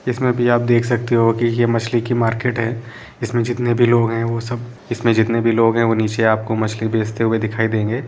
इसमें बभी आप देख सकते हो ये मछली की मार्किट है इसमें जितने भी लोग है वो सब जितने भी लोग है नीचे आपको मछली बेचते हुए दिखाई देंगे |